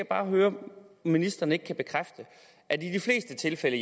bare høre om ministeren ikke kan bekræfte at i de fleste tilfælde